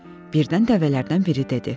Birdən dəvələrdən biri dedi.